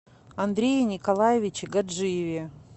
андрее николаевиче гаджиеве